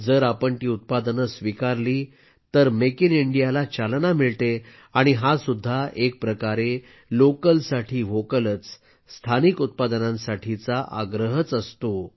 जर आपण ती उत्पादनं स्वीकारली तर मेक इन इंडियाला चालना मिळते आणि हा सुद्धा एक प्रकारे लोकल साठी व्होकलच स्थानिक उत्पादनांसाठीचा आग्रहच असतो